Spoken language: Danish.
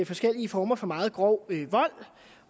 forskellige former for meget grov vold